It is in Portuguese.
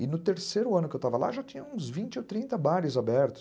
E no terceiro ano que eu estava lá, já tinha uns vinte ou trinta bares abertos.